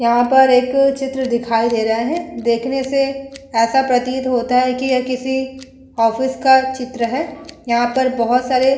यहां पर एक चित्र दिखाई दे रहा है। देखने से ऐसा प्रतीत होता है कि यह किसी ऑफिस का चित्र है। यहां पर बोहोत सारे --